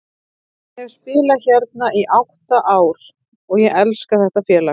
Ég hef spilað hérna í átta ár og ég elska þetta félag.